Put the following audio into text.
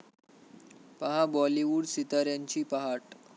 पाहा बाॅलिवूड सिताऱ्यांची पहाट